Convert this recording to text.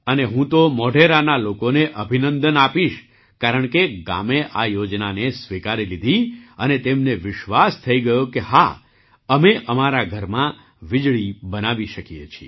અને હું તો મોઢેરાના લોકોને અભિનંદન આપીશ કારણકે ગામે આ યોજનાને સ્વીકારી લીધી અને તેમને વિશ્વાસ થઈ ગયો કે હા અમે અમારા ઘરમાં વીજળી બનાવી શકીએ છીએ